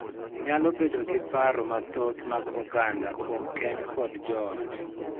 Nyalo bedo gi paro mathoth mag oganda kuom keny kod joot,